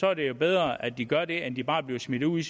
er det jo bedre at de gør det end at de bare bliver smidt ud